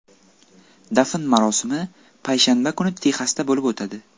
Dafn marosimi payshanba kuni Texasda bo‘lib o‘tadi.